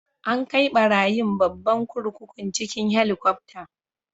An kai barayin babban kurkukun cikin Helikwafta.